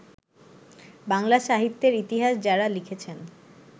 বাংলা সাহিত্যের ইতিহাস যাঁরা লিখেছেন